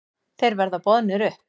Þeir verða boðnir upp.